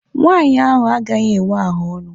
Nwaanyị ahụ agaghị enwe ahaọnụ.